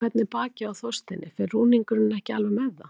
En hvernig er bakið á Þorsteini, fer rúningurinn ekki alveg með það?